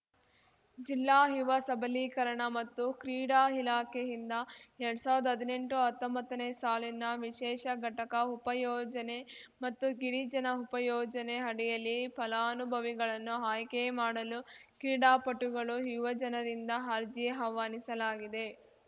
ಜಿಲ್ಲಾ ಯುವ ಸಬಲೀಕರಣ ಮತ್ತು ಕ್ರೀಡಾ ಇಲಾಖೆಯಿಂದ ಎರ್ಡ್ ಸಾವಿರ್ದಾ ಹದ್ನೆಂಟುಹತ್ತೊಂಬತ್ತನೇ ಸಾಲಿನ ವಿಶೇಷ ಘಟಕ ಉಪಯೋಜನೆ ಮತ್ತು ಗಿರಿಜನ ಉಪಯೋಜನೆ ಅಡಿಯಲ್ಲಿ ಫಲಾನುಭವಿಗಳನ್ನು ಆಯ್ಕೆ ಮಾಡಲು ಕ್ರೀಡಾಪಟುಗಳು ಯುವಜನರಿಂದ ಅರ್ಜಿ ಆಹ್ವಾನಿಸಲಾಗಿದೆ